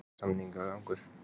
Hvað er samningurinn langur?